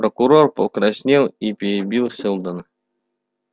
прокурор покраснел и перебил сэлдона